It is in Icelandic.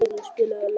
Márus, spilaðu lag.